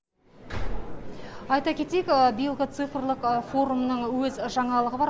айта кетейік биылғы цифрлік форумның өз жаңалығы бар